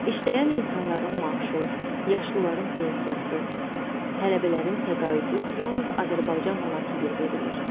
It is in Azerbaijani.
İşləyən insanların maaşı, yaşlıların pensiyası, tələbələrin təqaüdü yalnız Azərbaycan manatı ilə verilir.